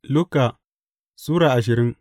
Luka Sura ashirin